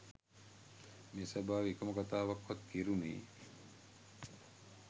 මේ සභාවේ එකම කතාවක්වත් කෙරුණේ